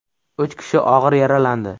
Uch kishi og‘ir yaralandi.